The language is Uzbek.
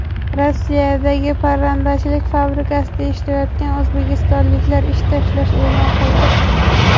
Rossiyadagi parrandachilik fabrikasida ishlayotgan o‘zbekistonliklar ish tashlash e’lon qildi.